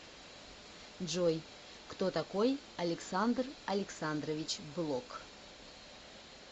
джой кто такой александр александрович блок